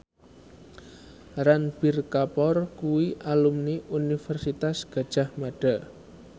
Ranbir Kapoor kuwi alumni Universitas Gadjah Mada